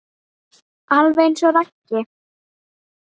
Alveg eins og Raggi.